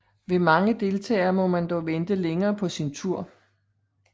Ved mange deltagere må man dog vente længere på sin tur